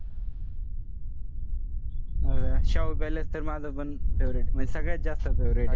अह शाहू palace तर माझंपण favorite म्हन सगळ्यात जास्त favourite